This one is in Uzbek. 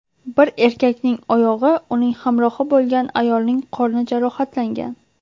Bir erkakning oyog‘i, uning hamrohi bo‘lgan ayolning qorni jarohatlangan.